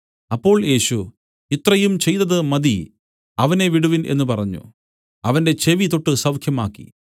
അപ്പോൾ യേശു ഇത്രയും ചെയ്തത് മതി അവനെ വിടുവിൻ എന്നു പറഞ്ഞു അവന്റെ ചെവി തൊട്ടു സൌഖ്യമാക്കി